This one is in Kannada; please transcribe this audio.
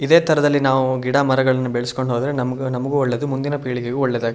ಇದೆ ತರದಲ್ಲಿ ನಾವು ಗಿಡ ಮರಗಳನ್ನು ಬೆಳೆಸಿಕೊಂಡು ಹೋದರೆ ನಮಗೂ ಒಳ್ಳೆಯದು ಮುಂದಿನ ಪೀಳಿಗೆಗೂ ಒಳ್ಳೇದಾ --